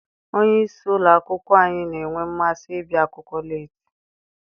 Onye isi ụlọ akwụkwọ anyị na-enwe mmasị ịbịa akwụkwọ leeti.